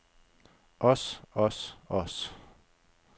os os os